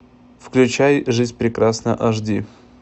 включай жизнь прекрасна аш ди